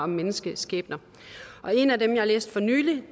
menneskeskæbner og en af dem jeg har læst for nylig